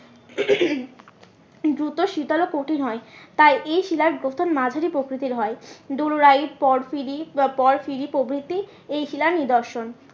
দূত শীতল ও কঠিন হয় তাই এই শিলার গঠন মাঝারি প্রকৃতির হয় প্রভৃতি এই শিলার নিদর্শন